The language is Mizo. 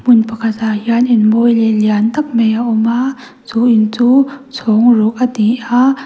hmun pakhat ah hian in mawi leh lian tak mai a awm a chu in chu chhawng ruk ani a.